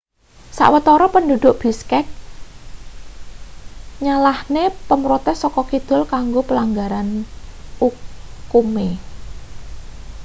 sawetara penduduk bishkek nyalahne pemrotes saka kidul kanggo pelanggaran ukume